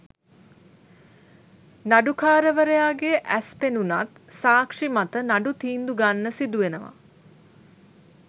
නඩුකාරවරයාගේ ඇස් පෙනුනත් සාක්ෂි මත නඩු තීන්දු ගන්න සිදු වෙනව